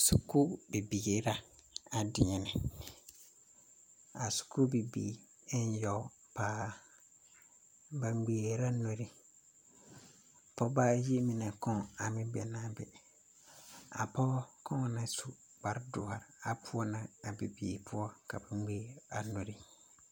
Skuu bibiire la a deɛnɛ a skuu bibiire en yɔg paa ba ngmɛɛrɛɛ la nuri pɔɔbaayi mine kɔŋ ameŋ be naa be a pɔgɔ kɔŋa na su kparedoɔre are poɔ na a bibiire poɔ ka ba ngmɛɛr a nuri.